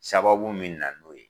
Sababu min na n'o ye.